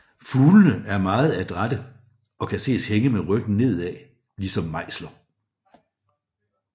Fuglene er meget adrætte og kan ses hænge med ryggen nedad ligesom mejser